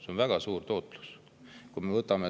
See on väga suur tootlus!